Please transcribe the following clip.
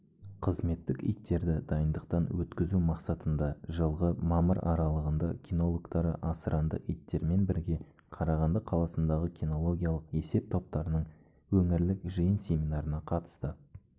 қызметтік иттерді дайындықтан өткізу мақсатында жылғы мамыр аралығында кинологтары асыранды иттермен бірге қарағанды қаласыдағы кинологиялық есеп-топтарының өңірлік жиын-семинарына қатысты